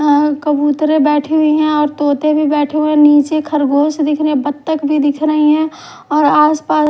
यहाँ कबूतर बेठे हुई है और तोते भी बेठे हुए निचे खरगोश दिखरे बत्तक भी दिख रही है और आस पास--